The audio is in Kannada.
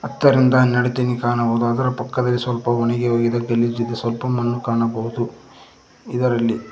ಹತ್ತರಿಂದ ಹನ್ನೆರಡು ತೆನಿ ಕಾಣಬಹುದು ಅದರ ಪಕ್ಕದಲ್ಲಿ ಸ್ವಲ್ಪ ಒಣಗಿ ಹೋಗಿದ ಗಲೀಜ್ ಇದೆ ಸ್ವಲ್ಪ ಮಣ್ಣು ಕಾಣಬಹುದು ಇದರಲ್ಲಿ--